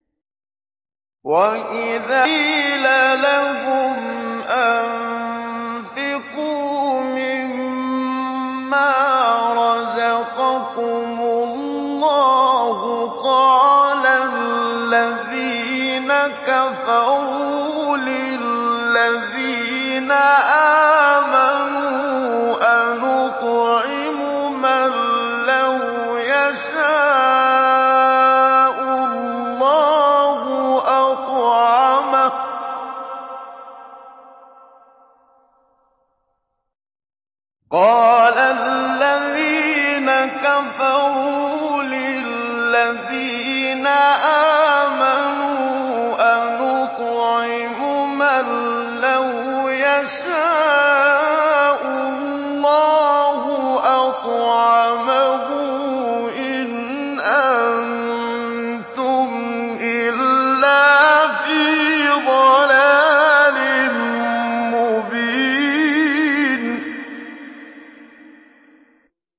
وَإِذَا قِيلَ لَهُمْ أَنفِقُوا مِمَّا رَزَقَكُمُ اللَّهُ قَالَ الَّذِينَ كَفَرُوا لِلَّذِينَ آمَنُوا أَنُطْعِمُ مَن لَّوْ يَشَاءُ اللَّهُ أَطْعَمَهُ إِنْ أَنتُمْ إِلَّا فِي ضَلَالٍ مُّبِينٍ